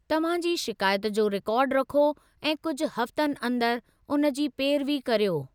तव्हां जी शिकायत जो रिकार्ड रखो ऐं कुझु हफ़्तनि अंदर उन जी पेरवी कर्यो।